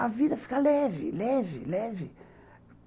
A vida fica leve, leve, leve.